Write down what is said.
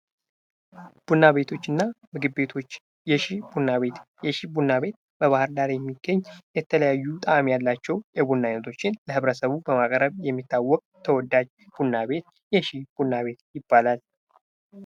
ቡና ቤቶች እና ምግብ ቤቶች የሺ ቡና ቤት በባህር ዳር የሚገኝ የተለያዩ ጣእም ያላቸው የቡና አይነቶችን ለህብረተሰቡ በማቅረብ የሚታወቅ ተወዳጅ ቡና ቤት የሺ ቡና ቤት ይባላል።